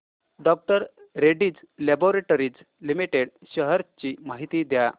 डॉ Reddy's laboratories limited shares ची माहिती द्या